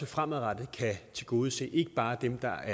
fremadrettet kan tilgodese ikke bare dem der